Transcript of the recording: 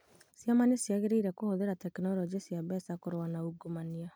Ciama nĩ ciagĩrĩire kũhũthĩra tekinoronjĩ cia mbeca kũrũa na ungumania